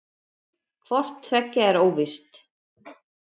Hvort tveggja er óvíst.